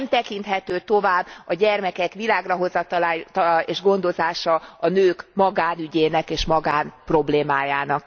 Nem tekinthető tovább a gyermekek világrahozatala és gondozása a nők magánügyének és magánproblémájának.